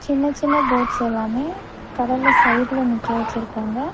சின்ன சின்ன போட்ஸ் எல்லாமே கடல்ல சைடுல நிக்க வச்சிருக்காங்க.